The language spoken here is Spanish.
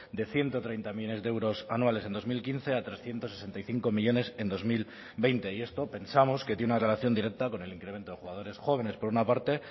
de ciento treinta millónes de euros anuales en dos mil quince a trescientos sesenta y cinco millónes en dos mil veinte y esto pensamos que tiene una relación directa con el incremento de jugadores jóvenes por una parte